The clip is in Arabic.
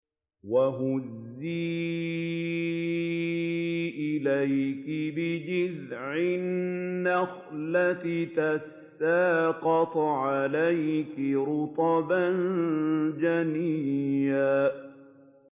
وَهُزِّي إِلَيْكِ بِجِذْعِ النَّخْلَةِ تُسَاقِطْ عَلَيْكِ رُطَبًا جَنِيًّا